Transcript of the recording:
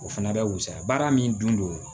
O fana bɛ wusaya baara min dun